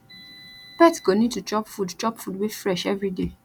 pet go need to chop food chop food wey fresh every day